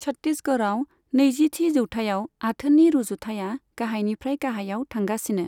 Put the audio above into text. छत्तीसगढ़आव नैजिथि जौथायाव आथोननि रुजुथाया गाहायनिफ्राय गाहायाव थांगासिनो।